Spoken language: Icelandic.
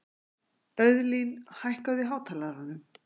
Auðlín, hækkaðu í hátalaranum.